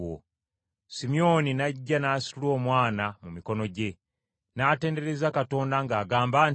Simyoni n’ajja n’asitula Omwana mu mikono gye, n’atendereza Katonda ng’agamba nti,